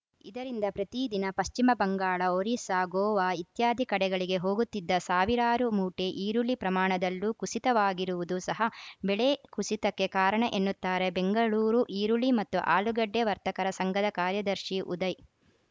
ಇದರಿಂದ ಪ್ರತಿ ದಿನ ಪಶ್ಚಿಮ ಬಂಗಾಳ ಒರಿಸ್ಸಾ ಗೋವಾ ಇತ್ಯಾದಿ ಕಡೆಗಳಿಗೆ ಹೋಗುತ್ತಿದ್ದ ಸಾವಿರಾರು ಮೂಟೆ ಈರುಳ್ಳಿ ಪ್ರಮಾಣದಲ್ಲೂ ಕುಸಿತವಾಗಿರುವುದು ಸಹ ಬೆಲೆ ಕುಸಿತಕ್ಕೆ ಕಾರಣ ಎನ್ನುತ್ತಾರೆ ಬೆಂಗಳೂರು ಈರುಳ್ಳಿ ಮತ್ತು ಆಲೂಗಡ್ಡೆ ವರ್ತಕರ ಸಂಘದ ಕಾರ್ಯದರ್ಶಿ ಉದಯ್‌